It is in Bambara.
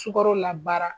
Sukaro la baara